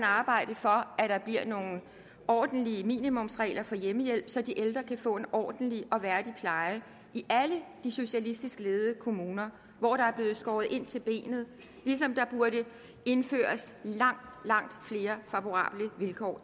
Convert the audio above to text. arbejde for at der bliver nogle ordentlige minimumsregler for hjemmehjælp så de ældre kan få en ordentlig og værdig pleje i alle de socialistisk ledede kommuner hvor der er blevet skåret ind til benet ligesom der burde indføres langt langt flere favorable vilkår